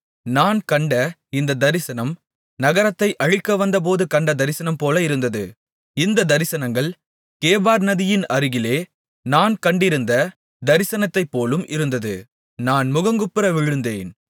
நான் கண்ட இந்தத் தரிசனம் நகரத்தை அழிக்கவந்தபோது கண்ட தரிசனம்போல இருந்தது இந்தத் தரிசனங்கள் கேபார் நதியின் அருகிலே நான் கண்டிருந்த தரிசனத்தைப்போலும் இருந்தது நான் முகங்குப்புற விழுந்தேன்